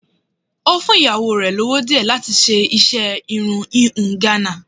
Ó fún ìyàwó rẹ̀ lówó díẹ̀ láti fi ṣe iṣẹ́ híhun Ghana.